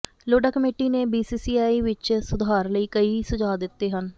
Lodha committee ਨੇ ਬੀਸੀਸੀਆਈ ਵਿਚ ਸੁਧਾਰ ਲਈ ਕਈ ਸੁਝਾਅ ਦਿੱਤੇ ਹਨ